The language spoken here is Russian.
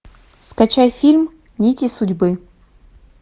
скачай фильм нити судьбы